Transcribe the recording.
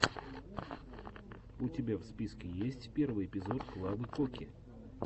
у тебя в списке есть первый эпизод клавы коки